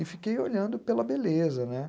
E fiquei olhando pela beleza, né?